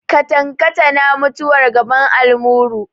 Katankatana mutuwar gaban almuru.